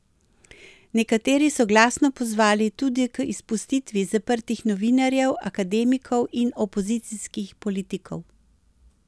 Nekateri so glasno pozvali tudi k izpustitvi zaprtih novinarjev, akademikov in opozicijskih politikov.